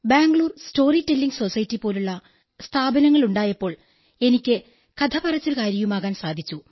Bangalore storytelling society പോലുള്ള സ്ഥാപനങ്ങളുണ്ടായപ്പോൾ എനിക്ക് കഥ പറച്ചിലുകാരിയുമാകാൻ സാധിച്ചു